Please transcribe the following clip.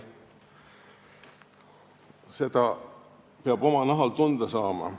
Seda peab oma nahal tunda saama.